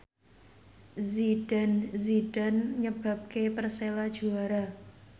Zidane Zidane nyebabke Persela juara